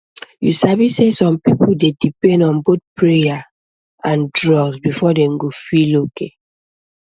you sabi sey some people dey depend on both prayer and drug before dem go feel okay